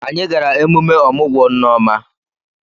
Anyị gara emume ọmụgwọ Nneoma.